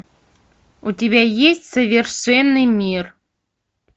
у тебя есть совершенный мир